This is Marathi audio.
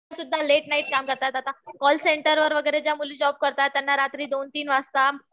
स्त्रिया सुद्धा लेट नाईट काम करतात आता. कॉल सेंटरवर ज्या मुली काम करतात त्यांना रात्री दोन-तीन वाजतात.